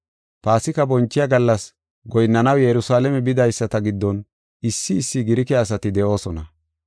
Paasika bonchiya gallas goyinnanaw Yerusalaame bidaysata giddon issi issi Girike asati de7oosona.